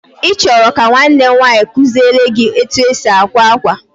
Ị chọrọ ka nwanne m nwaanyị kuziele gị etu e si akwa akwa.